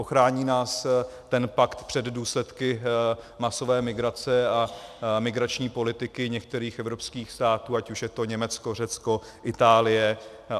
Ochrání nás ten pakt před důsledky masové migrace a migrační politiky některých evropských států, ať už je to Německo, Řecko, Itálie?